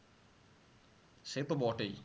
সে তো বটেই